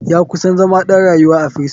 Ya kusan zama ɗan rayuwa a firison.